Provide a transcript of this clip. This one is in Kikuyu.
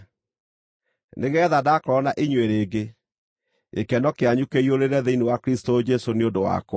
nĩgeetha ndakorwo na inyuĩ rĩngĩ, gĩkeno kĩanyu kĩiyũrĩrĩre thĩinĩ wa Kristũ Jesũ nĩ ũndũ wakwa.